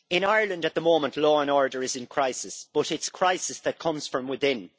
In Ireland, at the moment, law and order is in crisis but it is a crisis that comes from within.